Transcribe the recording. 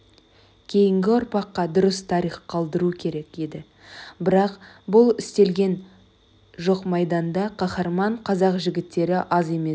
кейінгі ұрпаққа дұрыс тарих қалдыру керек еді бірақ бұл істелген жоқмайданда қаһарман қазақ жігіттері аз емес